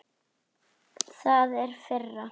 Það er firra.